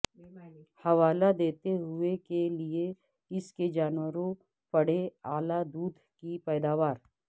حوالہ دیتے ہوئے کے لئے اس کے جانوروں پڑے اعلی دودھ کی پیداوار